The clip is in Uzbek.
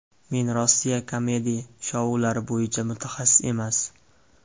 Men Rossiya kamedi-shoulari bo‘yicha mutaxassis emas.